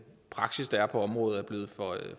praksis der er på området er blevet for